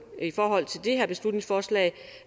i forhold til det her beslutningsforslag